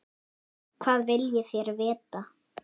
Hvað viljið þér vita?